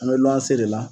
An bɛ lɔnsi de la